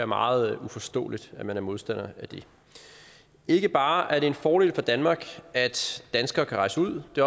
meget uforståeligt at man er modstander af det ikke bare er det en fordel for danmark at danskere kan rejse ud det